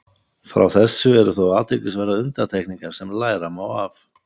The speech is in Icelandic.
Frá þessu eru þó athyglisverðar undantekningar sem læra má af.